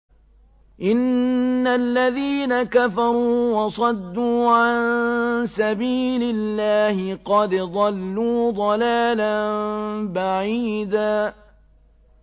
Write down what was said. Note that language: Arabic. إِنَّ الَّذِينَ كَفَرُوا وَصَدُّوا عَن سَبِيلِ اللَّهِ قَدْ ضَلُّوا ضَلَالًا بَعِيدًا